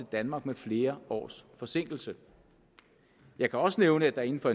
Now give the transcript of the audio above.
danmark med flere års forsinkelse jeg kan også nævne at der inden for